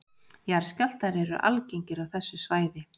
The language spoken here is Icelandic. Jarðskjálftar eru algengir á þessu svæði